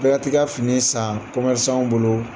Bɛɛ ka t'i ka fini san kɔmɛrisanw bolo.